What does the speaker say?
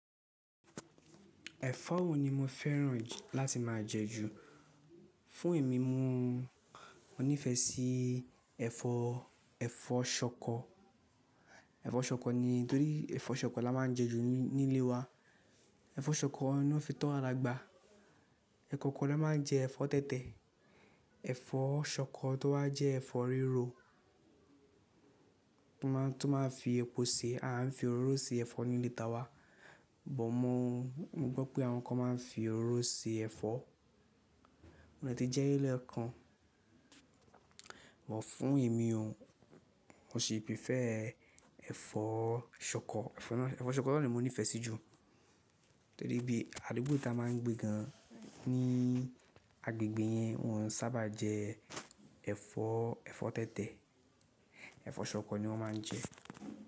Ẹ̀fọ́ wo ni mo fẹ́ràn láti má a jẹ ju? Fún èmi mo, mo nífẹsí ẹfọ, ẹfọ ṣọkọ. Ẹfọ ṣọkọ ni, torí ẹfọ ṣọkọ la má ń jẹ ju nílé wa. Ẹfọ ṣọkọ ná fitọ́ wa dagba. Ẹ̀kọ̀kan ni a máa ń jẹ ẹ̀fọ́ tẹ̀tẹ̀. Ẹ̀fọ́ ṣọkọ tó wá jẹ́ ẹ̀fọ́ rírọ̀ tó má ń fi epo se. A ń fi oróro se ẹ̀fọ́ nílé ta wa, bọ̀ mo mọ̀ gbo wipé àwọn kan ma ń fi ororó se ẹ̀fọ́, mode ti jeri lekan, bọ̀ fún èmi o, mo sì prefer ẹ̀fọ́ ṣọkọ, ẹfọ ṣọkọ ná ni mo nífẹ́ sí ju. Torí bí àdúgbò tí a máa ń gbé gan ní agbègbè yẹn wọn sábà jẹ ẹ̀fọ́, ẹ̀fọ́ tẹ̀tẹ̀, ẹ̀fọ́ ṣọkọ ni wọ́n ma ń jẹ.